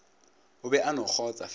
o be a no kgotsa